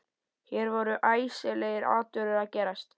Hér voru æsilegir atburðir að gerast.